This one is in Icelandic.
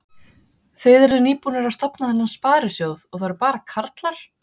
Þið eruð nýbúnir að stofna þennan sparisjóð og það eru bara karlar?